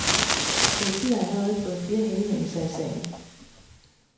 Politiet har allerede fået flere henvendelser i sagen.